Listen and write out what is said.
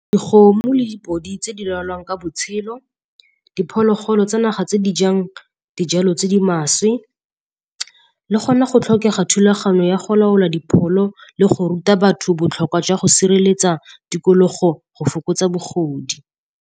Dikgomo le dipodi tse di lwalang ka botshelo, diphologolo tsa naga tse di jang dijalo tse di maswe. Le gona go tlhokega thulaganyo ya go laola dipholo le go ruta batho botlhokwa jwa go sireletsa tikologo go fokotsa bogodi.